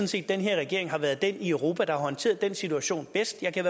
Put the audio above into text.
set at den her regering har været den regering i europa der har håndteret den situation bedst jeg kan